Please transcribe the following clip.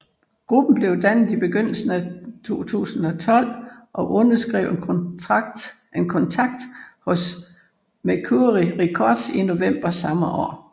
Gruppen blev dannet i begyndelsen af 2012 og underskrev en kontakt hos Mercury Records i november samme år